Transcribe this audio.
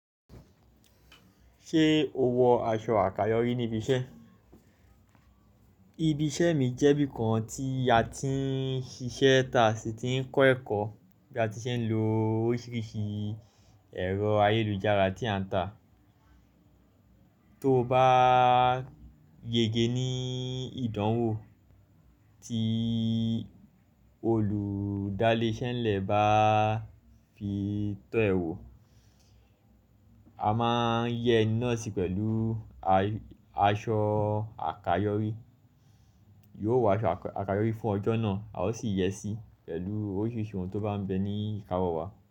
Ṣé o wọ aṣọ àkáyòrí níbi iṣẹ́? Ibi iṣẹ́ mi jẹ́ bí i kan tí a ti ń ṣiṣẹ́ tà si ti ń kọ́ ẹ̀kọ́ bí a ti ń ṣe ń lo oríṣiríṣi ẹ̀rọ ayélujára tí a ń tà. Tó o bá yege ní ìdánwò tí olùdálẹ́ṣẹ́nlẹ̀ bá fi tọ́ ẹ wò, a máa ń yẹ eni náà si pẹ̀lú aṣọ àkayòrí. Yóò wọ aṣọ àkayòrí fún ọjọ́ náà, a ó sì yẹ sí i pẹ̀lú oríṣiríṣi ohun tó bá ń bẹ ní ìkáwọ́ wa.